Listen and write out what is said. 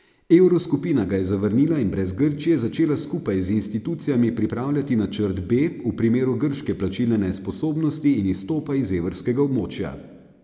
Evroskupina ga je zavrnila in brez Grčije začela skupaj z institucijami pripravljati načrt B v primeru grške plačilne nesposobnosti in izstopa iz evrskega območja.